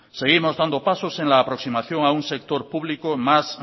seguimos dando pasos en la aproximación de un sector público más